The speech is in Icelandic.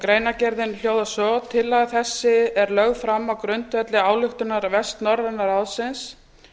greinargerðin hljóðar svo tillaga þessi er lögð fram á grundvelli ályktunar vestnorræna ráðsins